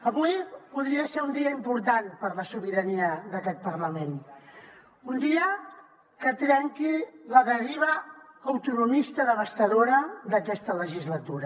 avui podria ser un dia important per a la sobirania d’aquest parlament un dia que trenqui la deriva autonomista devastadora d’aquesta legislatura